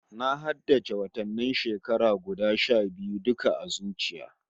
Na haddace watannin shekara guda sha biyu duka a zuciya